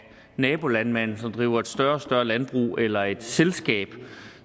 nabolandmanden som driver et større og større landbrug eller af et selskab